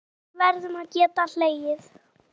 Við verðum að geta hlegið.